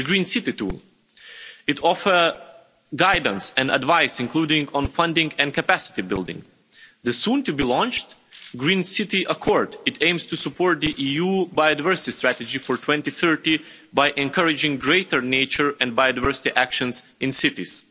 The Green City tool offers guidance and advice, including on funding and capacity building, and the soon to be launched Green City Accord, which aims to support the EU biodiversity strategy for 2030 by encouraging greater nature and biodiversity actions in cities.